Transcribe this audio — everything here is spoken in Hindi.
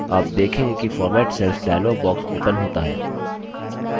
आप देखेंगे कि format cells dialog box opens होता है